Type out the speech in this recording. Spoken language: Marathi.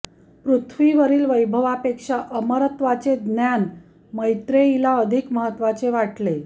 पृथ्वीवरील वैभवापेक्षा अमरत्वाचे ज्ञान मैत्रेयीला अधिक महत्त्वाचे वाटले